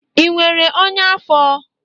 Ị nwere ọnya afọ?